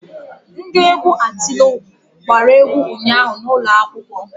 Ndị egwu Atilogwu gbara egwu ụnyaahụ n'ụlọ akwụkwọ.